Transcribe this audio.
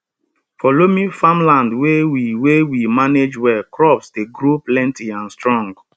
for loamy farmland wey we wey we manage well crops dey grow plenty and strong